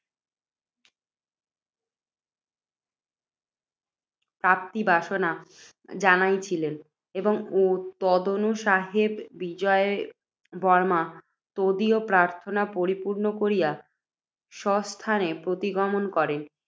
প্রাপ্তিবাসনা জানাইয়াছিলেন। তদনুসারে বিজয়বর্ম্মা তদীয় প্রার্থনা পরিপূর্ণ কবিয়া স্বস্থানে প্রতিগমন করেন।